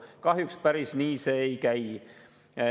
Kahjuks päris nii see ei käi.